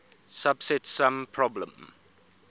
subset sum problem